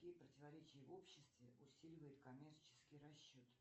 какие противоречия в обществе усиливает коммерческий расчет